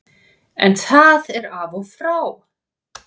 En það er af og frá.